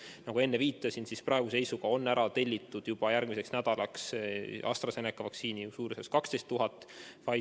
Nagu enne viitasin, on praeguse seisuga tellitud järgmiseks nädalaks AstraZeneca vaktsiini umbes 12 000 doosi.